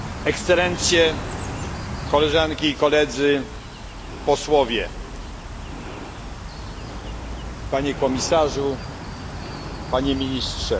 ekscelencje, koleżanki i koledzy, posłowie, panie komisarzu, panie ministrze!